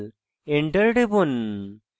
enter টিপুন